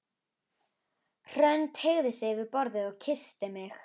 Hrönn teygði sig yfir borðið og kyssti mig.